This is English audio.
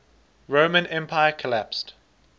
roman empire collapsed